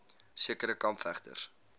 sekere kamp vegters